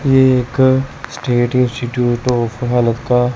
ये एक state institute of